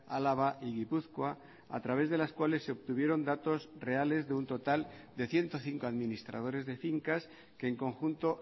álava y gipuzkoa a través de las cuales se obtuvieron datos reales de un total de ciento cinco administradores de fincas que en conjunto